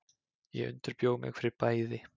Ég undirbjó mig fyrir bæði.